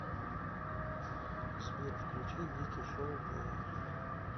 сбер включи вики шоу плэй